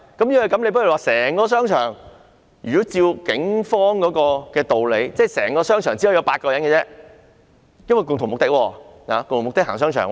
如果是這樣，按照警方的道理，整個商場內只可以有8人，因為他們的共同目的是逛商場。